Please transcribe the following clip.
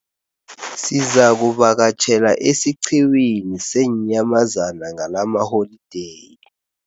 Sizakuvakatjhela esiqhiwini seenyamazana ngalamaholideyi.